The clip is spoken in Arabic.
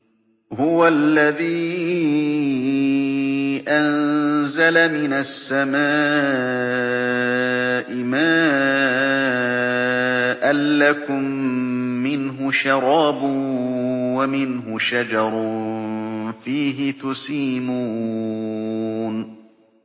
هُوَ الَّذِي أَنزَلَ مِنَ السَّمَاءِ مَاءً ۖ لَّكُم مِّنْهُ شَرَابٌ وَمِنْهُ شَجَرٌ فِيهِ تُسِيمُونَ